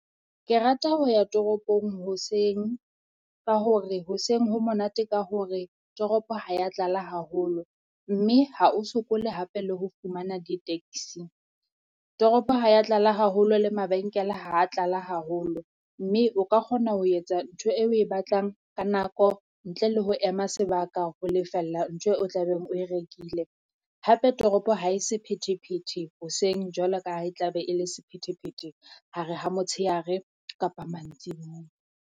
Ke rata ho ya toropong hoseng, ka hore hoseng ho monate ka hore toropo ha ya tlala haholo. Mme ha o sokole hape le ho fumana di-taxi, toropo ha ya tlala haholo le mabenkele ha tlala haholo mme o ka kgona ho etsa ntho e oe batlang ka nako ntle le ho ema sebaka ho lefella ntho o tla beng oe rekile. Hape toropo ha e sephethephethe hoseng jwalo ka ha e tla be e le sephethephethe hare ha motshehare kapa mantsibuya.